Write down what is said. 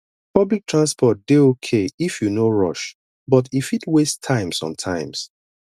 public transport dey okay if you no rush but e fit waste time sometimes